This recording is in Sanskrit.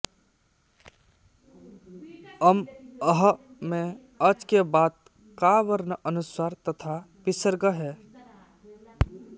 अं अः में अच् के बाद का वर्ण अनुस्वार तथा विसर्ग हैं